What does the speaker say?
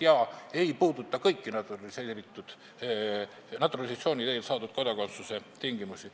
Need ei puuduta naturalisatsiooni teel saadud kodakondsuse kõiki tingimusi.